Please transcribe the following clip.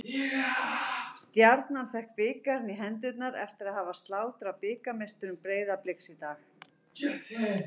Stjarnan fékk bikarinn í hendurnar eftir að hafa slátrað bikarmeisturum Breiðabliks í dag.